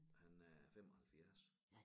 Han er 75